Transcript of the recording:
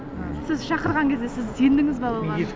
сіз шақырған кезде сіз сендіңіз ба оған